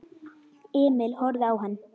Emil horfði á hann.